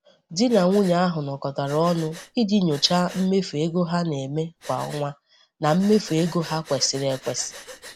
Di na nwunye ahụ nọkọtara ọnụ iji nyochaa mmefu ego ha na-eme kwa ọnwa na mmefu ego ha kwesịrị ekwesị.